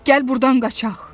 Gəl burdan qaçaq.